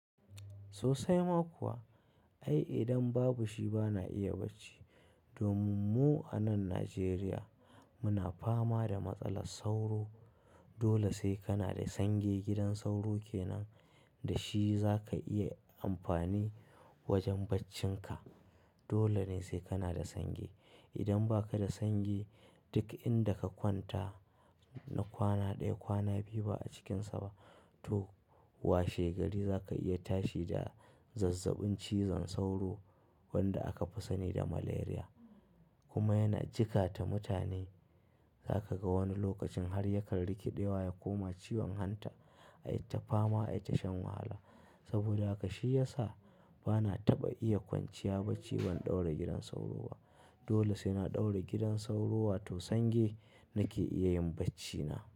Sosai ma kuwa. Ai idan babu shi bana iya bacci. Domin mu a nan Najeriya muna fama da matsalar sauro. Dole sai kana da sange. Gidan sauro kenan da shi za ka iya amfani wajen baccinka. Dole ne sai kana da sange. Idan ba ka da sange duk inda ka kwanta na kwana ɗaya, kwana biyu ba a cikinsa ba, toh washe gari za ka iya tashi da zazzabin cizon sauro wanda aka fi sani da Malaria kuma yana jikata mutane. Za ka ga wani lokacin har ya kan rikiɗewa ya koma ciwon hanta. Ai ta fama, ai ta shan wahala. Saboda haka shi ya sa bana taɓa iya kwanciya bacci ban ɗaura gidan sauro ba. Dole sai na ɗaura gidan sauro wato sange nake iya yin baccina.